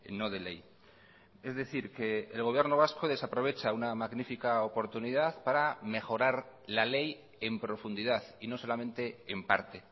no de ley es decir que el gobierno vasco desaprovecha una magnífica oportunidad para mejorar la ley en profundidad y no solamente en parte